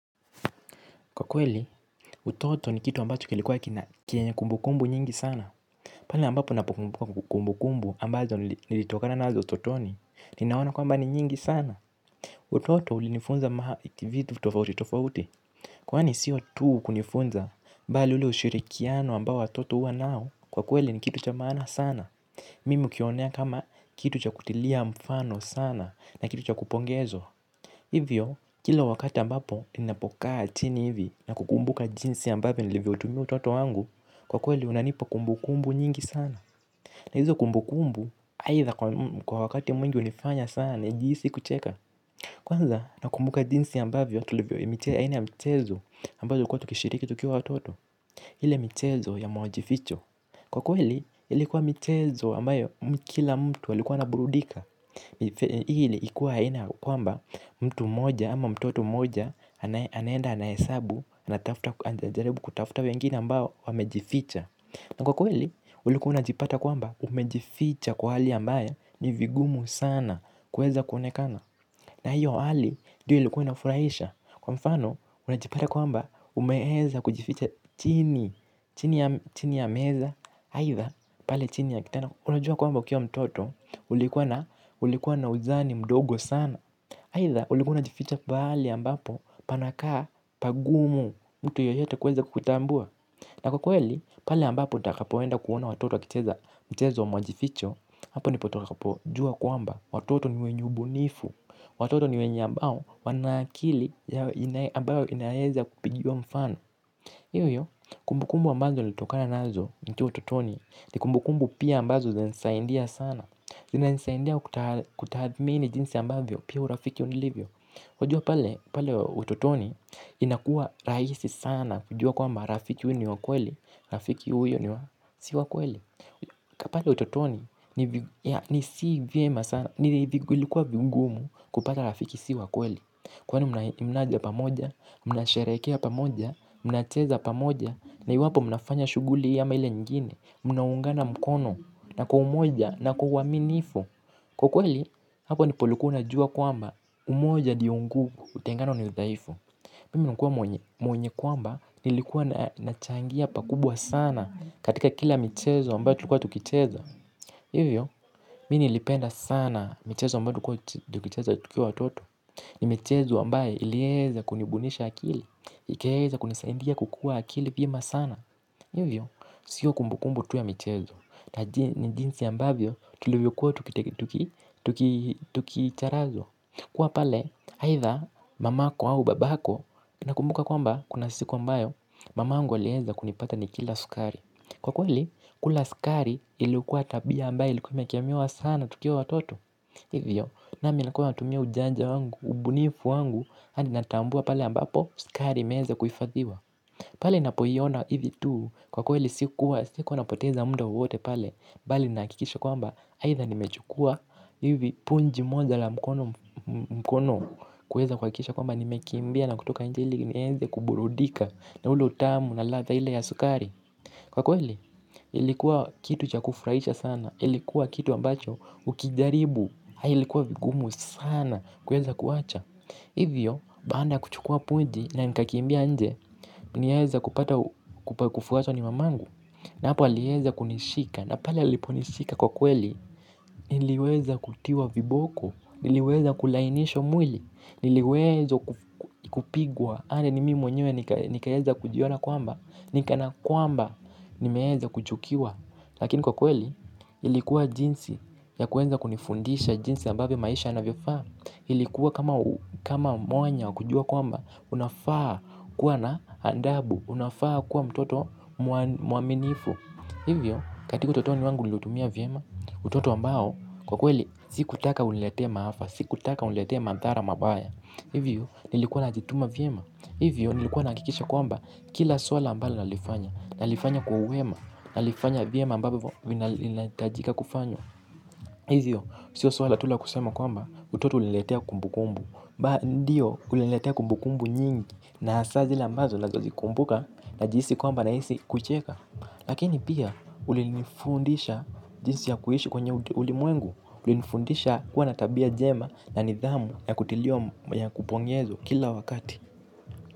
Kwa kweli, utoto ni kitu ambacho kilikuwa kina kenye kumbukumbu nyingi sana. Pale ambapo napo kumbukumbu ambazo nilitokana nazo utotoni, ninaona kwamba ni nyingi sana. Utoto ulinifunza vitu tofauti tofauti kwani siyo tu kunifunza, bali ule ushirikiano ambao watoto huwa nao. Kwa kweli ni kitu cha maana sana. Mimi hukionea kama kitu cha kutilia mfano sana na kitu cha kupongezwa. Hivyo, kila wakati ambapo ninapokaa chini hivi na kukumbuka jinsi ambapo nilivyoutumia utoto wangu, kwa kweli unanipa kumbukumbu nyingi sana. Na hizo kumbukumbu, aidha kwa wakati mwingi hunifanya sana, nijihisi kucheka. Kwanza, nakumbuka jinsi ambavyo tulivyoipitia aina ya michezo ambazo ulikuwa tukishiriki tukiwa watoto. Ile michezo ya majificho. Kwa kweli, ilikuwa michezo ambayo kila mtu alikuwa anaburudika. Ili ikuwe haina kwamba mtu mmoja ama mtoto mmoja anaenda anahesabu anatafuta, anajaribu kutafuta wengine ambao wamejificha. Na kwa kweli ulikuwa unajipata kwamba umejificha kwa hali ambayo ni vigumu sana kuweza kuonekana. Na hiyo hali ndio ilikuwa inafurahisha. Kwa mfano unajipata kwamba umeweza kujificha chini, chini ya meza aidha pale chini ya kitanda unajua kwamba ukiwa mtoto ulikuwa na uzani mdogo sana. Aidha ulikuwa unajificha pahali ambapo panakaa pagumu mtu yoyote kuweza kukutambua na kwa kweli pale ambapo utakapoenda kuona watoto wakicheza mchezo wa majificho hapo ndipo utakapojua kwamba watoto ni wenye ubunifu watoto ni wenye ambao wana akili ambayo inaweza kupigiwa mfano, hiyo hiyo kumbukumbu ambazo nilitokana nazo nikiwa utotoni ni kumbukumbu pia ambazo zinanisaidia sana. Zinanisaidia kutathmini jinsi ambavyo pia urafiki ulivyo. Wajua pale utotoni inakuwa rahisi sana kujua kwamba rafiki huyu ni wa kweli. Rafiki huyu ni wa, si wakweli. Ka pale utotoni ni si vyema sana. Ni ilikuwa vigumu kupata rafiki si wa kweli. Kwani mnaja pamoja. Mnasherehekea pamoja. Mnacheza pamoja. Na iwapo mnafanya shughuli hii ama ile nyingine. Mnaungana mkono na kwa umoja, na kwa uaminifu. Kwa kweli hapo ndipo ulikuwa unajua kwamba umoja ndio nguvu utengano ni udhaifu. Mimi hukua mwenye kwamba nilikuwa nachangia pakubwa sana katika kila michezo ambayo tulikuwa tukicheza. Hiyo hiyo, mimi niilipenda sana michezo ambayo tulikuwa tukicheza tukiwa watoto. Ni michezo ambayo iliweza kunibunisha akili ikaweza kunisaidia kukua akili vyema sana. Hiyo hiyo, siyo kumbukumbu tu ya michezo. Na jinsi ambavyo tulivyokuwa tukicharazwa. Kuwa pale, aidha mamako au babako. Nakumbuka kwamba, kuna siku ambayo mamangu alieza kunipata nikila sukari. Kwa kweli, kula sukari ilikuwa tabia ambayo ilikuwa imekemewa sana tukiwa watoto. Hivyo, nami nakuwa natumia ujanja wangu, ubunifu wangu hadi natambua pale ambapo sukari imeweza kuhifadhiwa. Pale ninapoiona hivi tu kwa kweli sikuwa, sikuwa napoteza muda wowote pale bali nahakikisha kwamba aidha nimechukua hivi punji moja la mkono. Kuweza kuhakikisha kwamba nimekimbia na kutoka nje ili niweze kuburudika na ule utamu na ladha ile ya sukari. Kwa kweli ilikuwa kitu cha kufurahisha sana ilikuwa kitu ambacho ukijaribu, ilikuwa vigumu sana kuweza kuacha. Hivyo, baada ya kuchukua punji na nitakimbia nje. Nieza kupata kupakufuaso ni mamangu. Na hapa aliweza kunishika. Na pale aliponishika kwa kweli. Niliweza kutiwa viboko, niliweza kulainishwa mwili, niliwezwa kupigwa hadi ni mimi mwenyewe nikaweza kujiona kwamba ni kana kwamba nimeweza kuchukiwa lakini kwa kweli. Ilikuwa jinsi ya kuweza kunifundisha jinsi ambavyo maisha yanavyofaa, ili kuwa kama mwanya kujua kwamba unafaa kuwa na adabu, unafaa kuwa mtoto mwaminifu. Hivyo katika utotoni wangu niliutumia vyema, utoto ambao kwa kweli sikutaka uniletee maafa, sikutaka uniletee madhara mabaya. Hivyo nilikuwa najituma vyema. Hivyo nilikuwa nahakikisha kwamba kila swala ambalo nalifanya, nalifanya kwa uwema, nalifanya vyema ambayo vinahitajika kufanywa. Hivyo sio swala tu la kusema kwamba utoto uliniletea kumbukumbu. Ndiyo uliniletea kumbukumbu nyingi na hasaa zile ambazo nawezazikumbuka najihisi kwamba nahisi kucheka lakini pia ulinifundisha jinsi ya kuishi kwenye ulimwengu, ulinifundisha kuwa na tabia njema na nidhamu na kutiliwa, ya kupongezwa kila wakati.